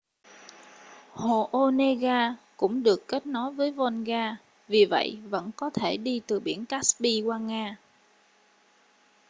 hồ onega cũng được kết nối với volga vì vậy vẫn có thể đi từ biển caspi qua nga